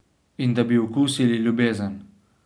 In da bi okusili ljubezen.